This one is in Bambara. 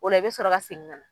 Ola i bɛ sɔrɔ ka segin kana.